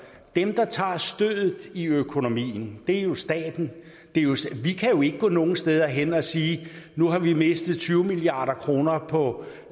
dem der tager stødet i økonomien er jo staten vi kan ikke gå nogen steder hen og sige nu har vi mistet tyve milliard kroner på